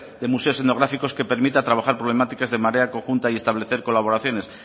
de museos etnográficos que permita trabajar problemáticas de manera conjunta y establecer colaboraciones